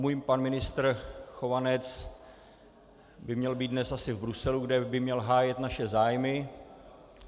Můj pan ministr Chovanec by měl být dnes asi v Bruselu, kde by měl hájit naše zájmy.